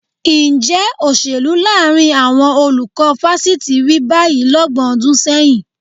Ǹjẹ́ òṣèlú láàrin àwọn olùkọ́ fásitì rí báyìí lọ́gbọ̀n ọdún sẹ́yìn?